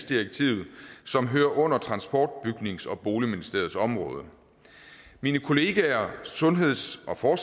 direktivet som hører under transport bygnings og boligministeriets område mine kollegaer sundhedsministeren